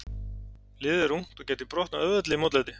Liðið er ungt og gæti brotnað auðveldlega í mótlæti.